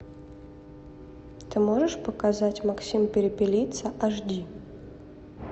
ты можешь показать максим перепелица аш ди